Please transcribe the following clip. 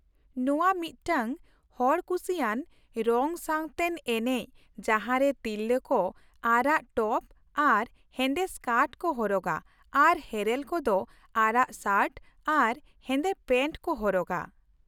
ᱱᱚᱶᱟ ᱢᱤᱫᱴᱟᱝ ᱦᱚᱲ ᱠᱩᱥᱤᱭᱟᱱ ᱨᱚᱝᱼᱥᱟᱶᱛᱮᱱ ᱮᱱᱮᱪ ᱡᱟᱦᱟᱸᱨᱮ ᱛᱤᱨᱞᱟᱹ ᱠᱚ ᱟᱨᱟᱜ ᱴᱚᱯ ᱟᱨ ᱦᱮᱸᱫᱮ ᱥᱠᱟᱴ ᱠᱚ ᱦᱚᱨᱚᱜᱟ, ᱟᱨ ᱦᱮᱨᱮᱞ ᱠᱚ ᱫᱚ ᱟᱨᱟᱜ ᱥᱟᱨᱴ ᱟᱨ ᱦᱮᱸᱫᱮ ᱯᱮᱱᱴ ᱠᱚ ᱦᱚᱨᱚᱜᱟ ᱾